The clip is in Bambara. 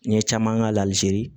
N ye caman k'a la hali se